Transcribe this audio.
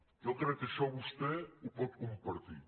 jo crec que això vostè ho pot compartir